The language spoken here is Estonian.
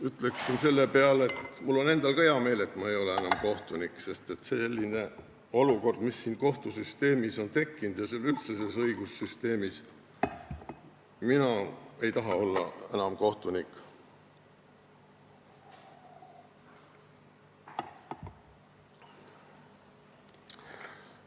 Ütleksin selle peale, et mul on endal ka hea meel, et ma ei ole enam kohtunik, sest sellise olukorra tõttu, mis kohtusüsteemis ja üldse õigussüsteemis on tekkinud, ei taha ma enam kohtunik olla.